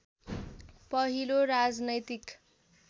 पहिलो राजनैतिक